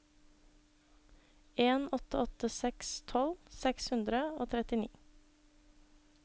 en åtte åtte seks tolv seks hundre og trettini